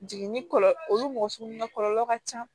Jiginni kɔlɔlɔ olu mɔgɔ sugu na kɔlɔlɔ ka ca